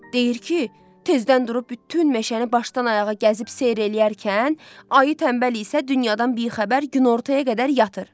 Deyir ki, tezdən durub bütün meşəni başdan-ayağa gəzib seyr eləyərkən, ayı tənbəl isə dünyadan bixəbər günortaya qədər yatır.